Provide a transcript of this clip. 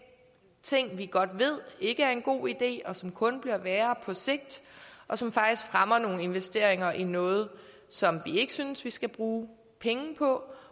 ting som vi godt ved ikke er en god idé som kun bliver værre på sigt og som faktisk fremmer nogle investeringer i noget som vi ikke synes vi skal bruge penge på